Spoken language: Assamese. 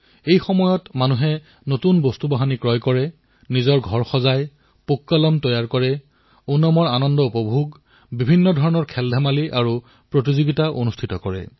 এই সময়ছোৱাত মানুহে নতুন সামগ্ৰী ক্ৰয় কৰে নিজৰ ঘৰ সজায় পুক্কলম বনায় ওনামসদিয়াৰ আনন্দ লয় ভিন্নভিন্ন ধৰণৰ খেলধেমালিৰ আয়োজন কৰে